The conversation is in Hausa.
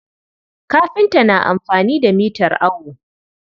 Kafinta na amfani da mitar awo.